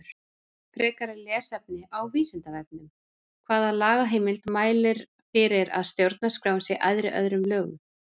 Frekara lesefni á Vísindavefnum: Hvaða lagaheimild mælir fyrir að stjórnarskráin sé æðri öðrum lögum?